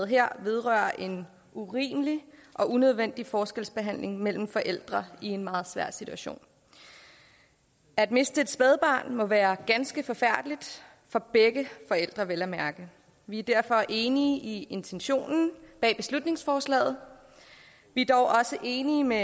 her vedrører en urimelig og unødvendig forskelsbehandling mellem forældre i en meget svær situation at miste et spædbarn må være ganske forfærdeligt for begge forældre vel at mærke vi er derfor enige i intentionen bag beslutningsforslaget vi er dog også enige med